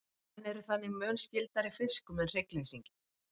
menn eru þannig mun skyldari fiskum en hryggleysingjum